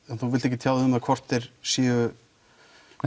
þú vilt ekki tjá þig hvort þeir séu